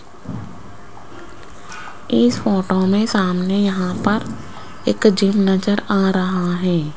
इस फोटो में सामने यहां पर एक जिम नजर आ रहा है।